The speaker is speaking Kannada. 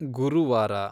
ಗುರುವಾರ